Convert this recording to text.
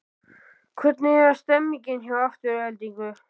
Hvernig er stemningin hjá Aftureldingu?